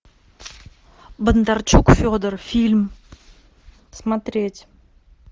бондарчук федор фильм смотреть